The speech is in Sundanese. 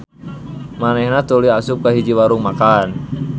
Manehna tuluy asup ka hiji warung makan.